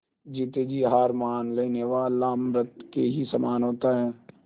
जीते जी हार मान लेने वाला मृत के ही समान होता है